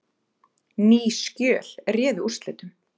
Ný skjöl réðu úrslitum